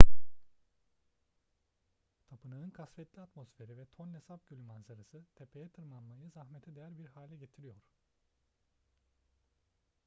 tapınağın kasvetli atmosferi ve tonle sap gölü manzarası tepeye tırmanmayı zahmete değer bir hale getiriyor